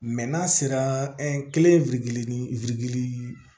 n'a sera kelen ni